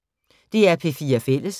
DR P4 Fælles